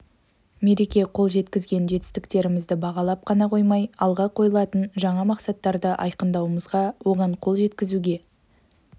мереке қол жеткізген жетістіктерімізді бағалап қана қоймай алға қойылатын жаңа мақсаттарды айқындауымызға оған қол жеткізуге